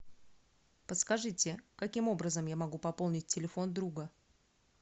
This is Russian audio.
подскажите каким образом я могу пополнить телефон друга